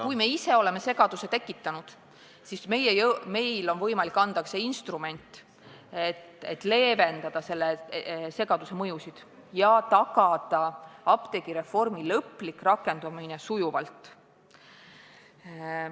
Kui me ise oleme segaduse tekitanud, siis nüüd on meil võimalik anda instrument, et leevendada selle segaduse mõjusid ja tagada apteegireformi lõplik rakendumine sujuvalt.